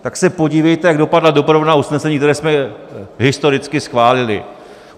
Tak se podívejte, jak dopadla doprovodná usnesení, která jsme historicky schválili.